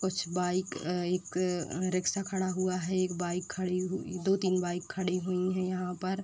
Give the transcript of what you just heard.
कुछ बाईक अ एक अ रिक्शा खड़ा हुआ है। एक बाईक खड़ी हु दो-तीन बाईक खड़ी हुई हैं यहाँ पर।